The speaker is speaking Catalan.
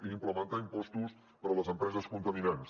i implementar impostos per a les empreses contaminants